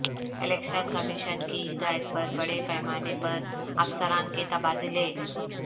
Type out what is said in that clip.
election commission کی ہدایت پر بڑے پیمانے پر افسران کے تبادلے